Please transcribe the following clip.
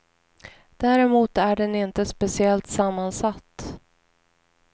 Däremot är den inte speciellt sammansatt.